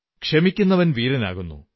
ക്ഷമിക്കുന്നവൻ വീരനാകുന്നു